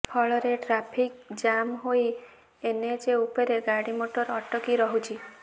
ଫଳରେ traffic jam ହୋଇ NH ଉପରେ ଗାଡ଼ି ମୋଟର ଅଟକି ରହୁଛି